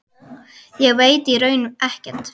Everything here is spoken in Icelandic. Ég veit í raun ekkert.